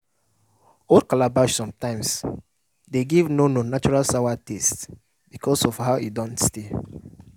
old calabash sometimes de give nono that natural sawa taste because of how e don stay